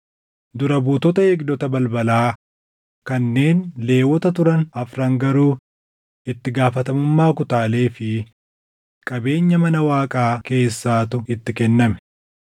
Dura buutota eegdota balbalaa kanneen Lewwota turan afran garuu itti gaafatamummaa kutaalee fi qabeenya mana Waaqaa keessaatu itti kenname.